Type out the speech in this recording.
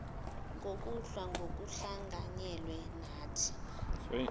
ngokulwa ngokuhlanganyela nathi